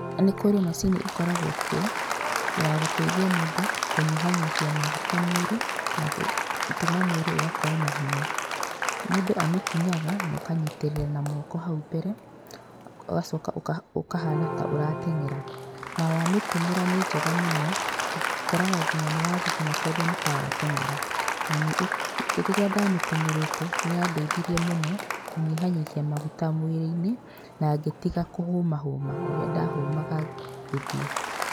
Nĩ kũrĩ macini ĩkoragwo kuo, ya gũteithia mũndũ kũnyiha nyihia maguta mwĩrĩ, na gũtũma mwĩrĩ ũgakorwo na hinya. Mũndũ amĩkinyaga na ũkanyitĩrĩra na moko hau mbere, ũgacoka ũkahana ta ũrateng'era. Na wa mĩtũmĩra nĩ njega mũno, ũkoraga nginya nĩ wathigina tondũ nĩ ta wateng'era. Na nĩ ĩ, rĩrĩa ndamĩtũmĩrĩte, nĩ yandeithirie mũno kũnyiha nyihia maguta mwĩrĩ-inĩ, na ngĩtiga kũhũma hũma ũrĩa ndahũmaga ngĩthiĩ.